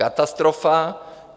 katastrofa.